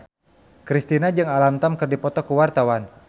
Kristina jeung Alam Tam keur dipoto ku wartawan